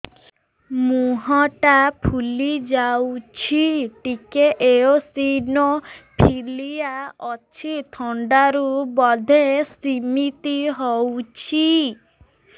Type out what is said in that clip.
ମୁହଁ ଟା ଫୁଲି ଯାଉଛି ଟିକେ ଏଓସିନୋଫିଲିଆ ଅଛି ଥଣ୍ଡା ରୁ ବଧେ ସିମିତି ହଉଚି